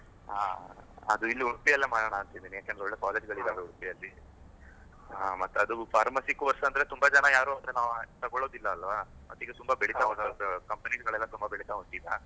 ಹಾ, ಅದು ಇಲ್ಲೇ ಉಡುಪಿಯಲ್ಲೇ ಮಾಡೋಣ ಅಂತ ಇದ್ದೀನಿ ಯಾಕೆಂದ್ರೆ ಒಳ್ಳೆ college ಗಳು ಇದ್ದವೆ ಉಡುಪಿಯಲ್ಲಿ ಮತ್ತೆ ಅದು pharmacy course ಅಂದ್ರೆ, ತುಂಬಾ ಜನ ಈಗ ಯಾರು ಅಂತ ತಕೊಳ್ಳುದಿಲ್ಲ ಅಲ್ವಾ? ಮತ್ತೆ ಈಗ ತುಂಬಾ ಬೆಳಿತಾ company ಗಳೆಲ್ಲ ಬೆಳಿತಾ ಉಂಟು ಈಗ.